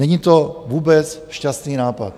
Není to vůbec šťastný nápad.